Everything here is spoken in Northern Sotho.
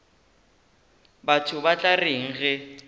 batho ba tla reng ge